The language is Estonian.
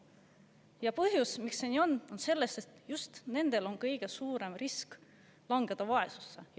Ja põhjus, miks see nii on, on selles, et just nendel on kõige suurem risk langeda vaesusesse.